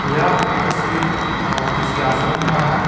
यह तस्वीर अअ किसी आश्रम का है।